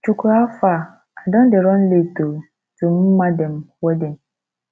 chukwu how far i don dey run late oo to Mma dem wedding